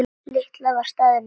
Lilla var staðin upp.